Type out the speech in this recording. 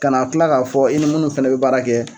Ka na tila k'a fɔ i ni munnu fɛnɛ be baara kɛ